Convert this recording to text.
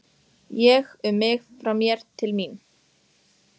Ég, um mig, frá mér, til mín.